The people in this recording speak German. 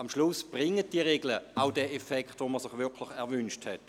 Zeitigen die Regeln schlussendlich die Wirkung, die man sich gewünscht hat?